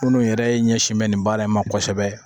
Minnu yɛrɛ ɲɛsinnen bɛ nin baara in ma kosɛbɛ